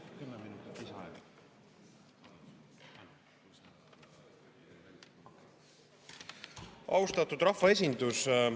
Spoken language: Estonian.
Austatud rahvaesindus!